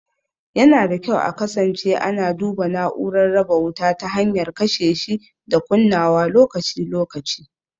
Yana da kyau a kasance ana duba na'urar raba wuta ta hanyar kashe shi da kunnawa lokaci-lokaci.